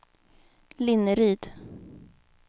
Linneryd